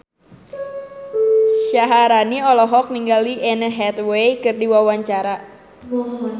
Syaharani olohok ningali Anne Hathaway keur diwawancara